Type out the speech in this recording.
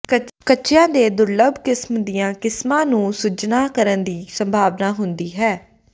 ਕੱਚੀਆਂ ਦੀ ਦੁਰਲੱਭ ਕਿਸਮ ਦੀਆਂ ਕਿਸਮਾਂ ਨੂੰ ਸੁੱਜਣਾ ਕਰਨ ਦੀ ਸੰਭਾਵਨਾ ਹੁੰਦੀ ਹੈ